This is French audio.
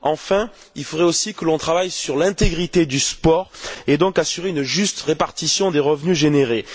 Enfin, il faudrait aussi que l'on travaille sur l'intégrité du sport et donc assurer une juste répartition des revenus générés.